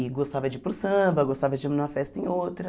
E gostava de ir para o samba, gostava de ir numa festa em outra.